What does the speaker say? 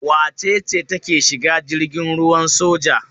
Wace ce take shiga jirgin ruwan soja?